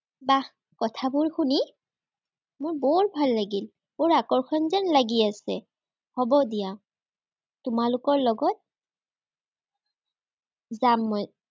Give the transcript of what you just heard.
বাহ কথাবোৰ শুনি মোৰ বৰ ভাল লাগিল। বৰ আকৰ্ষণ যেন লাগি আছে। হ'ব দিয়া। তোমালোকৰ লগত যাম মই।